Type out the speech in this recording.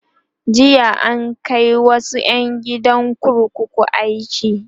jiya an Kai wasu ƴan gidan kurkuku aiki